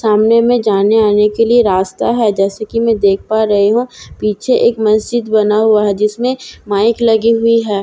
सामने में जाने-आने के लिए रास्‍ता है जैसा कि मैं देख पा रही हूँ पीछे एक मस्जिद बना हुआ है जिसमें माइक लगी हुई है।